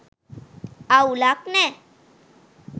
අවුලක් නෑ..